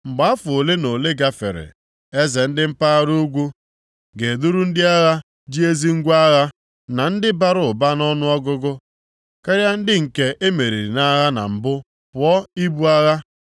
Mgbe afọ ole na ole gafere, eze ndị mpaghara ugwu ga-eduru ndị agha ji ezi ngwa agha, na ndị bara ụba nʼọnụọgụgụ karịa ndị nke e meriri nʼagha na mbụ pụọ ibu agha.